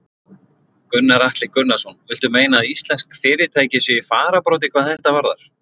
Gunnar Atli Gunnarsson: Viltu meina að íslensk fyrirtæki séu í fararbroddi hvað þetta varðar?